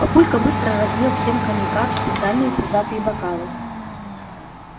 папулька быстро разлил всем коньяка в специальные пузатые бокалы